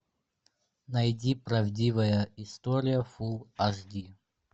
найди правдивая история фулл аш ди